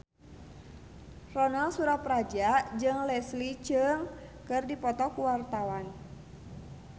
Ronal Surapradja jeung Leslie Cheung keur dipoto ku wartawan